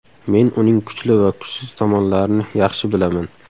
Men uning kuchli va kuchsiz tomonlarini yaxshi bilaman.